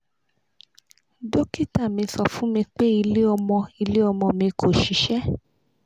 dokita mi sọ fun mi pe ile omo ile omo mi ko ṣiṣẹ